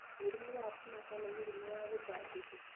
Mũrimũ wa kũmaka nĩ mũrimũ wa gũtangĩka.